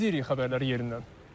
Biz izləyirik xəbərləri yerindən.